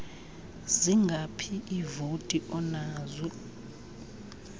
zingaphi iivoti onazo